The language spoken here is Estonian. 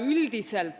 Jürgen Ligi, palun!